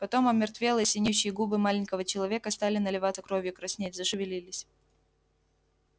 потом омертвелые синеющие губы маленького человека стали наливаться кровью краснеть зашевелились